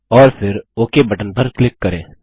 और फिर OK button पर क्लिक करें